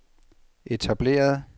etablerede